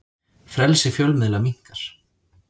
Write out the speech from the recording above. Frelsi fjölmiðla minnkar